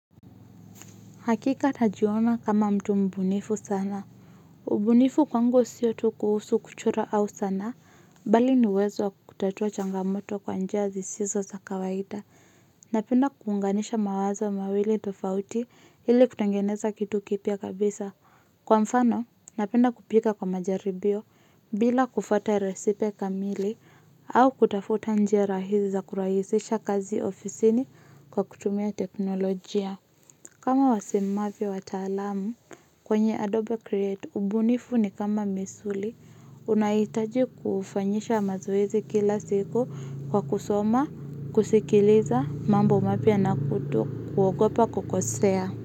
Hakika najiona kama mtu mbunifu sana. Ubunifu kwangu siyo tu kuhusu kuchora au sanaa, bali ni uwezo wa kutatua changamoto kwa njia zisizo za kawaida. Napenda kuunganisha mawazo mawili tofauti ili kutengeneza kitu kipya kabisa. Kwa mfano, napenda kupika kwa majaribio bila kufuata resipe kamili au kutafuta njia rahisi za kurahisisha kazi ofisini kwa kutumia teknolojia. Kama wasemavyo wataalamu, kwenye Adobe Create ubunifu ni kama misuli, unahitaji kufanyisha mazoezi kila siku kwa kusoma, kusikiliza, mambo mapya na kuogopa kukosea.